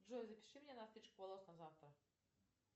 джой запиши меня на стрижку волос на завтра